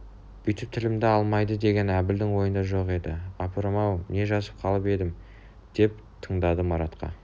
бүйтіп тілімді алмайды деген әбілдің ойында жоқ еді апырым-ау не жазып қалып едім деп таңданды маратқа